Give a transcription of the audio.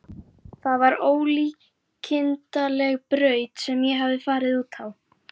Það var ólíkindaleg braut sem ég hafði farið út á.